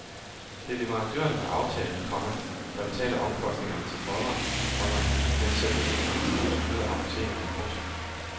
Det er leverandørerne med aftale, komma der betaler omkostningerne til folderen, komma mens selve indholdet bliver styret af apotekerne. punktum